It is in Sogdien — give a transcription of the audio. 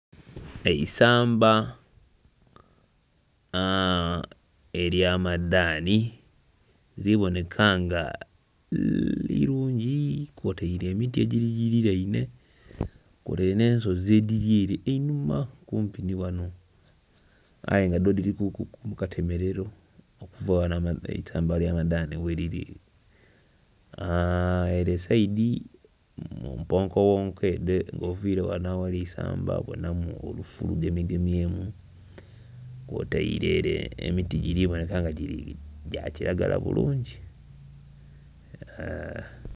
Eisamba ely'amadaanhi liri boneka nga irungi kwotaire emiti egigiliraine kwotaire n'ensozi edhiri ere einhuma kumpi ni ghano aye nga dho dhirikuku mukatemerero okuva ghano eisamba erya madhani gheliri. Ere sayidi mumponkoghonko nga oviire ghano aghali eisamba, obonamu olufu lugemyegemyemu kwotaire emiti giri boneka nga gya kiragala bulungi.